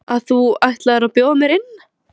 að þú ætlir að bjóða mér inn?